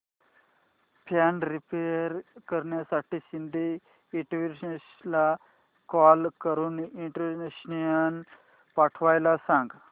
fan repair करण्यासाठी शिंदे इलेक्ट्रॉनिक्सला call करून इलेक्ट्रिशियन पाठवायला सांग